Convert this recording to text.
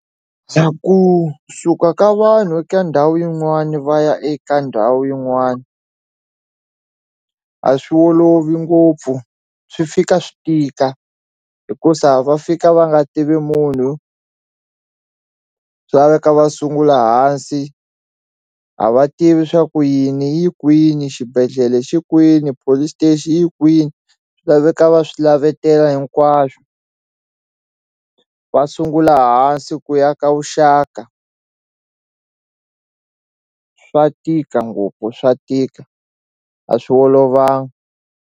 Bya kusuka ka vanhu eka ndhawu yin'wani va ya eka ndhawu yin'wani a swi olovi ngopfu swi fika swi tika hikusa va fika va nga tivi munhu swi laveka va sungula hansi a va tivi swa ku yini yi kwini xibedhlele xi kwini police station yi kwini swi laveka va swi lavetela hinkwaswo va sungula hansi ku ya ka vuxaka swa tika ngopfu swa tika a swi olovanga.